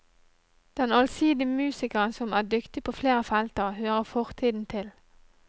Den allsidige musikeren som er dyktig på flere felter, hører fortiden til.